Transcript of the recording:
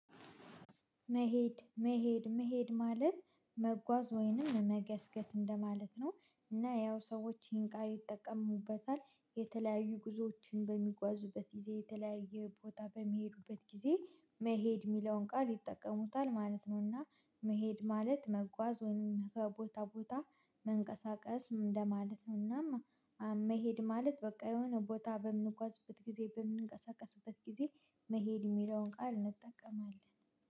መሄድ መሄድ መሄድ ማለት መጓዝ ወይንም መገስገስ እንደማለት ነው እና ያው ሰዎች ይህን ቃል ይጠቀሙበታል የተለያዩ ጉዞዎችን በሚጓዙበት ጊዜ የተለያየ ቦታ በሚሄዱበት ጊዜ መሄድ የሚለውን ቃል ይጠቀሙታል ማለት ነው። እና መሄድ ማለት መጓዝ ወይም ከቦታ ቦታ መንቀሳቀስ እንደማለት ነው። እናም መሄድ ማለት በቃ የሆነ ቦታ በምንጓዝበት ጊዜ በምንቀሳቀስበት ጊዜ መሄድ የሚለውን ቃል እንጠቀማለን